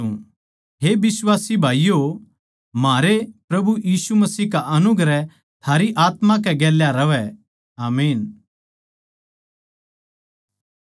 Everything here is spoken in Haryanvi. हे बिश्वासी भाईयो म्हारे प्रभु यीशु मसीह का अनुग्रह थारी आत्मा के गेल्या रहवै आमीन